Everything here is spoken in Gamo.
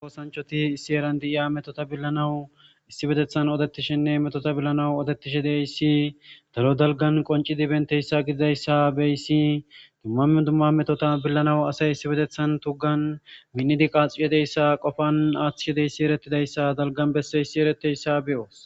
Oosanchoti issi eran diiya metota billanawu issi betethan odettishinne metota billanawu odetishe deyssi daro dalgan qoncidi benteyssa gididayssa beyssi dummamen dumma metota billanawu asay issi betethan tuggan minnidi qaaxxiyedeyssa qofan aaththihedeyssi erettidayssa dalgan besse issi eretteyssa beyoos.